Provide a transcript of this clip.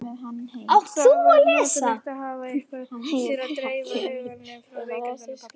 Það var notalegt að hafa eitthvað til að dreifa huganum frá veikindum pabba.